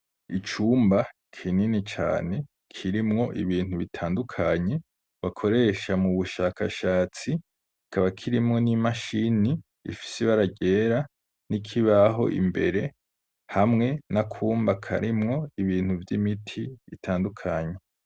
Icumba kinini cane kirimwo ibintu bitandukanye bakoresha mubushakashatsi ,kikaba kirimwo ni mashini ifise ibara ryera ,nikibaho imbere hamwe nakumba karimwo ibintu vy’imiti itandukanye.